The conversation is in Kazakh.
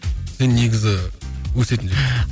сен негізі өсетін жігітсің